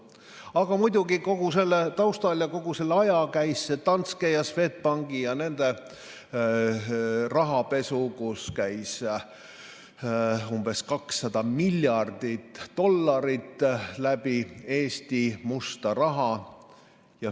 Aga muidugi kogu selle taustal ja kogu selle aja käis Danske ja Swedbanki rahapesu, mille raames käis Eestist läbi umbes 200 miljardit dollarit musta raha.